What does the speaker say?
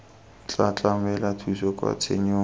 tla tlamela thuso kwa tshenyong